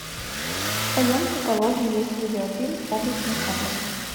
в твоем каталоге есть видеофильм облачный атлас